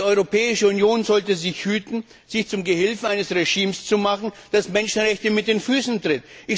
Und die Europäische Union sollte sich hüten, sich zum Gehilfen eines Regimes zu machen, das Menschenrechte mit den Füßen tritt.